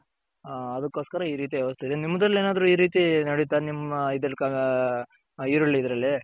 ಆ ಅದ್ಕೊಸ್ಕರ ಈ ರೀತಿ ವ್ಯವಸ್ಥೆ ಇದೆ ನಿಮ್ದ್ರಲೆನಾದ್ರು ನಿಮ್ಮ ಇದ್ರಲ್ಲಿ ಈರುಳ್ಳಿ ಇದ್ರಲ್ಲಿ.